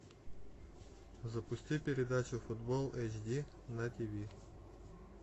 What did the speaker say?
запусти передачу футбол эйч ди на ти ви